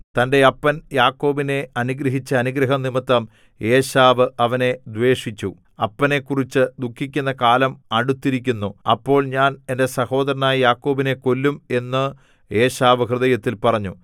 തന്റെ അപ്പൻ യാക്കോബിനെ അനുഗ്രഹിച്ച അനുഗ്രഹം നിമിത്തം ഏശാവ് അവനെ ദ്വേഷിച്ച് അപ്പനെക്കുറിച്ചു ദുഃഖിക്കുന്ന കാലം അടുത്തിരിക്കുന്നു അപ്പോൾ ഞാൻ എന്റെ സഹോദരനായ യാക്കോബിനെ കൊല്ലും എന്ന് ഏശാവ് ഹൃദയത്തിൽ പറഞ്ഞു